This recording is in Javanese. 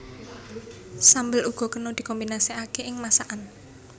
Sambel uga kena dikombinasekaké ing masakan